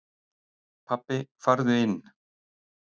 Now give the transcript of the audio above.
Pabbi farðu inn!